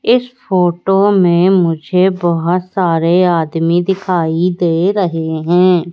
इस फोटो में मुझे बहोत सारे आदमी दिखाई दे रहें हैं।